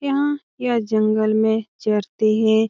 यहाँ यह जंगल में चरते हैं।